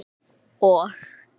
og